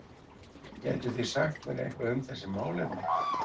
Gætuð þið sagt mér eitthvað um þessi málefni?